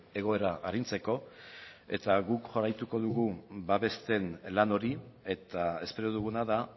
egoera arintzeko eta guk jarraituko dugu babesten lan hori eta espero duguna da